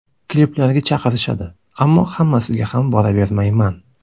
Kliplarga chaqirishadi, ammo hammasiga ham boravermayman.